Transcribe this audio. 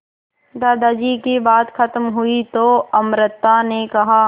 दादाजी की बात खत्म हुई तो अमृता ने कहा